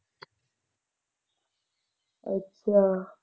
ਅੱਛਾ।